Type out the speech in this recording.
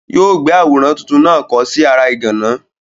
Yóò gbé àwòrán tuntun náà kọ̀ ọ́ sí ara ìgànná.